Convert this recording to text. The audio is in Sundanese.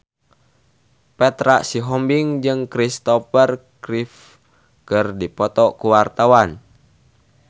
Petra Sihombing jeung Kristopher Reeve keur dipoto ku wartawan